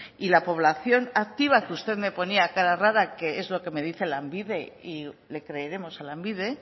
y la población activa que usted me ponía cara rara que es lo que me dice lanbide y le creeremos a lanbide